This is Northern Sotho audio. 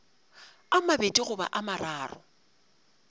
a mabedi goba a mararo